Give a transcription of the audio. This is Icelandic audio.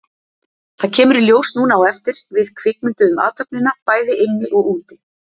Það kemur í ljós núna á eftir, við kvikmynduðum athöfnina, bæði inni og úti.